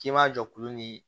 K'i ma jɔ kulu ni